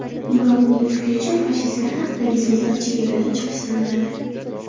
Biroq, uning fikricha, fashistlar haqidagi so‘zlar chegaradan chiqish sanaladi.